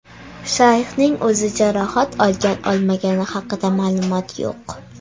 Shayxning o‘zi jarohat olgan-olmagani haqida ma’lumot yo‘q.